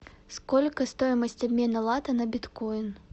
сколько стоимость обмена лата на биткоин